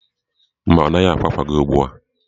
Mba, ọ naghị ákwá àkwà gị ugbu a.